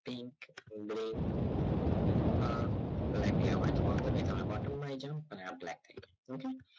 pink brink અ black લેવાનો alternate તમે બાજુ માં આય જાવ અ black થઈ જસે